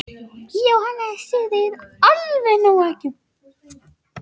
Jóhannes: Þið eigið alveg nóg af eggjum?